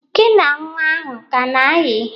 Gi na nnwa ahụ a ka na-ayị?